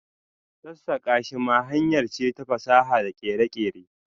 sassaka shi ma hanyar ce ta fasaha da kere-kere.